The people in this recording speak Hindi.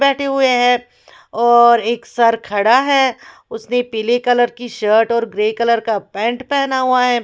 बैठे हुए हैं और एक सर खड़ा है उसने पीले कलर की शर्ट और ग्रे कलर का पैंट पहना हुआ है।